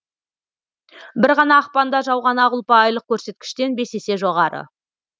бір ғана ақпанда жауған ақ ұлпа айлық көрсеткіштен бес есе жоғары